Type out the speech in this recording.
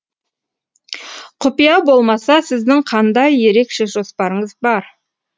құпия болмаса сіздің қандай ерекше жоспарыңыз бар